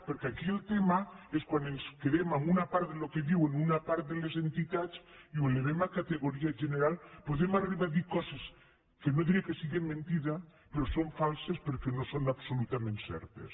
perquè aquí el tema és que quan ens quedem amb una part del que diuen una part de les entitats i ho elevem a categoria general podem arribar a dir coses que no diré que siguin mentida però que són falses perquè no són absolutament certes